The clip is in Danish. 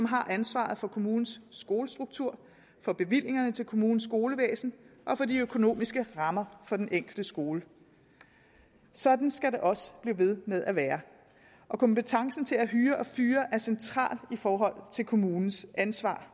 har ansvaret for kommunens skolestruktur for bevillingerne til kommunens skolevæsen og for de økonomiske rammer for den enkelte skole sådan skal det også blive ved med at være og kompetencen til at hyre og fyre er central i forhold til kommunens ansvar